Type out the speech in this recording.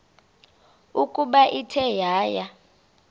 ukuba ithe yaya